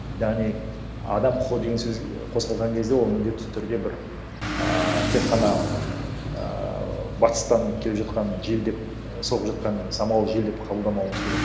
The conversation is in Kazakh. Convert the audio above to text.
яғни адам құқы деген сөз қозғалған кезде ол міндетті түрде бір ааа тек қана ыыы батыстан келе жатқан жел деп соғып жатқан самал жел деп қабылдамауымыз керек